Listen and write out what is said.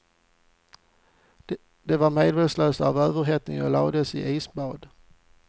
De var medvetslösa av överhettning och lades i isbad.